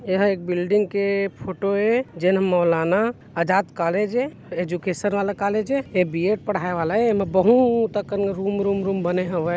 एहा एक बिल्डिंग के फोटो ए जेन ह मौलाना अजाद कॉलेज ए एजुकेशन वाला कॉलेज ए ऐ ह बी. एड. पढ़ाए वाला ए एमे बहुत अकन रूम रूम रूम बने हवय।